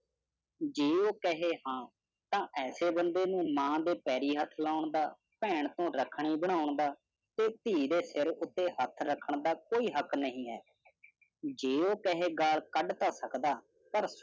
ਜੇ ਉਹ ਕਹੇ ਤਾਂ ਇਸੇ ਬੰਦੇ ਨੂੰ ਮਾਂ ਦੇ ਪੈਰੀ ਹੱਥ ਲੋਨ ਦਾ, ਪੈਣ ਤੋਂ ਰੱਖੜੀ ਬਧੋਨ ਦਾ ਤੇ ਧੀ ਦੇ ਸਿਰ ਉਤੇ ਹੱਥ ਰੱਖਣ ਦਾ ਕੋਈ ਹੱਕ ਨਹੀਂ ਹੈ। ਜੇ ਉਹ ਕਹੇ, ਗਾਲ ਕੱਢ ਤੋਂ ਸਕਦਾ ਪਰ